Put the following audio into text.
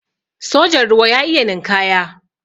sojan ruwa ya iya ninkaya